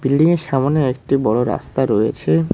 বিল্ডিংয়ের সামোনে একটি বড় রাস্তা রয়েছে।